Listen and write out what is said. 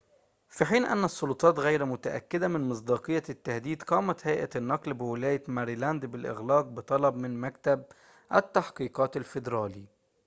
في حين أن السلطات غير متأكدة من مصداقية التهديد قامت هيئة النقل بولاية ماريلاند بالإغلاق بطلب من مكتب التحقيقات الفيدرالي